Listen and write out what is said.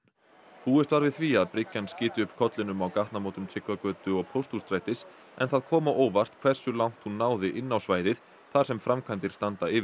búist var við því að bryggjan skyti upp kollinum á gatnamótum Tryggvagötu og Pósthússtrætis en það kom á óvart hversu langt hún náði inn á svæðið þar sem framkvæmdir standa yfir